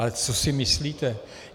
Ale co si myslíte?